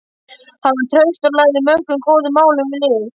Hann var traustur og lagði mörgum góðum málum lið.